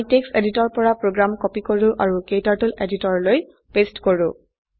আমি text editor পৰা program copy কৰো অাৰু ক্টাৰ্টল এডিটৰলৈ পেস্ট কৰো